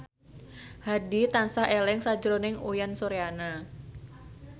Hadi tansah eling sakjroning Uyan Suryana